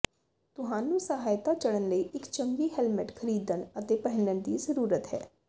ਤੁਹਾਨੂੰ ਸਹਾਇਤਾ ਚੜ੍ਹਨ ਲਈ ਇੱਕ ਚੰਗੀ ਹੈਲਮਟ ਖਰੀਦਣ ਅਤੇ ਪਹਿਨਣ ਦੀ ਜ਼ਰੂਰਤ ਹੈ